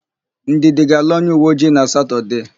Ndidi ga-alụ onyeuweojii na Satọdee.